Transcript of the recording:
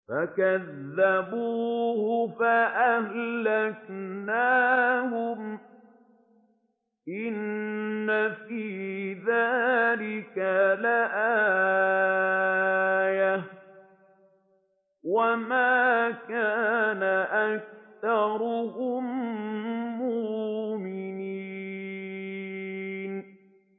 فَكَذَّبُوهُ فَأَهْلَكْنَاهُمْ ۗ إِنَّ فِي ذَٰلِكَ لَآيَةً ۖ وَمَا كَانَ أَكْثَرُهُم مُّؤْمِنِينَ